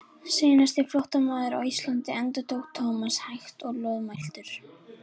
Seinasti flóttamaður á Íslandi endurtók Thomas hægt og loðmæltur.